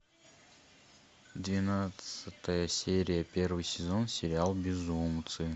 двенадцатая серия первый сезон сериал безумцы